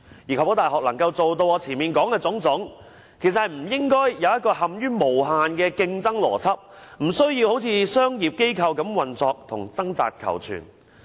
如要確保大學能做到我前面所說的種種，便不應設立一個無限的競爭邏輯，無須好像商業機構般運作及掙扎求存。